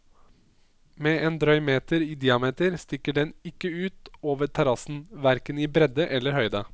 Med en drøy meter i diameter stikker den ikke ut over terrassen, hverken i bredde eller høyde.